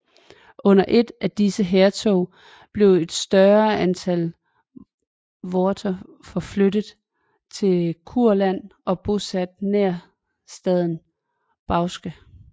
Under et af disse hærtog blev et større antal voter forflyttet til Kurland og bosat nær staden Bauske